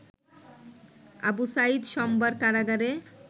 আবু সাঈদ সোমবার কারাগারে